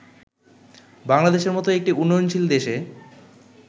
বাংলাদেশের মতো একটি উন্নয়নশীল দেশে